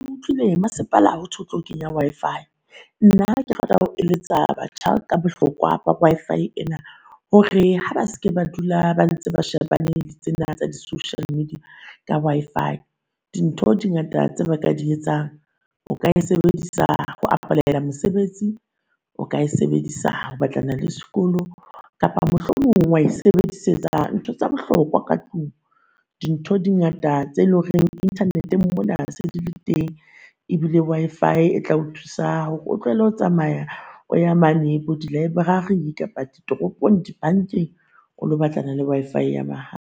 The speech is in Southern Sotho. Kutlwile masepala hothwe o tlo kenya Wi-fi. Nna ke rata ho eletsa batjha ka bohlokwa ba Wi-Fi ena, hore ha ba seke ba dula ba ntse ba shebane le tsena tsa di social media ka Wi-fi. Dintho dingata tse ba ka di etsang. O ka e sebedisa ho apply-a mosebetsi, o ka e sebedisa ho batlana le sekolo, kapa mohlomong wa e sebedisetsa ntho tsa bohlokwa ka tlung. Dintho dingata tse loreng internet-eng mona se di le teng, ebile Wi-fi e tla o thusa hore o tlohele ho tsamaya o ya mane bo di-library, toropong, kapa dibankeng o lo batlana le Wi-fi ya